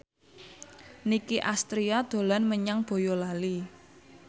Nicky Astria dolan menyang Boyolali